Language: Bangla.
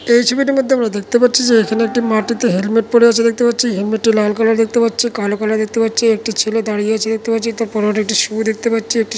এই ছবিটার মধ্যে আমরা দেখতে পাচ্ছি যে এখানে একটি মাটিতে হেলমেট পড়ে আছে দেখতে পাচ্ছি হেলমেটে লাল কলার দেখতে পাচ্ছি কালো কালার দেখতে পাচ্ছি একটি ছেলে দাঁড়িয়ে আছে দেখতে পাচ্ছি তার পরনে একটি সু ও দেখতে পাচ্ছি।